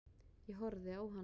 Ég horfði á hann.